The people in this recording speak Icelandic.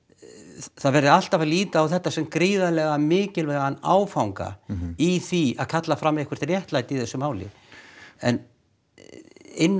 það verði alltaf að líta á þetta sem gríðarlega mikilvægan áfanga í því að kalla fram eitthvað réttlæti í þessu máli en innan